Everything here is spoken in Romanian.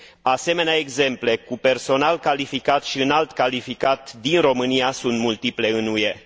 Asemenea exemple, cu personal calificat și înalt calificat din România sunt multiple în UE.